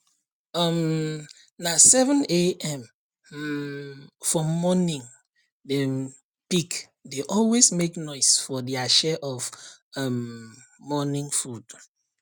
um na 7am um for morningdem pig dey always make noise for dia share of um morning food